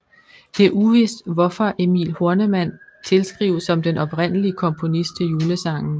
Det er uvist hvorfor Emil Horneman tilskrives som den oprindelige komponist til julesangen